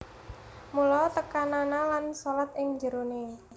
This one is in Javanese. Mula tekanana lan shalat ing jeroné